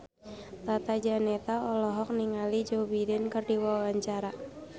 Tata Janeta olohok ningali Joe Biden keur diwawancara